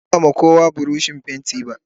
Ban ba kowa buroshin fenti ba.